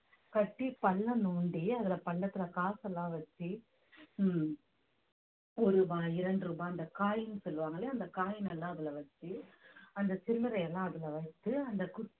கட்டி பள்ளம் நோண்டி அதுல பள்ளத்துல காசு எல்லாம் வச்சு ஹம் ஒரு ரூபாய் இரண்டு ரூபாய் அந்த coin சொல்லுவாங்க இல்லையா அந்த coin எல்லாம் அதுல வச்சு அந்த சில்லறை எல்லாம் அதுல வைத்து அந்த குச்சி